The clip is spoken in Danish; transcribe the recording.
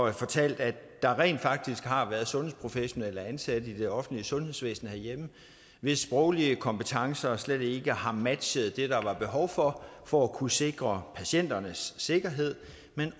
har fortalt at der rent faktisk har været sundhedsprofessionelle ansatte i det offentlige sundhedsvæsen herhjemme hvis sproglige kompetencer slet ikke har matchet det der var behov for for at kunne sikre patienternes sikkerhed